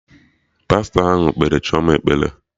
Pastọ ahụ kpere Chioma ekpere